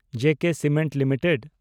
ᱡᱮ K cements limited